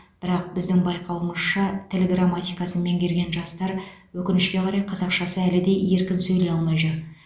бірақ біздің байқауымызша тіл грамматикасын меңгерген жастар өкінішке қарай қазақшасы әлі де еркін сөйлей алмай жүр